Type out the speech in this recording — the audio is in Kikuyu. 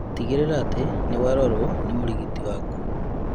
Tigĩrĩra atĩ nĩwarorwo nĩ mũrigitani waku